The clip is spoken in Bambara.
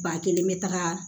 Ba kelen bɛ taga